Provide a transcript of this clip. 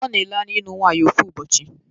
a na-ele anya ịlụ nwaanyi ofu ụbọchị.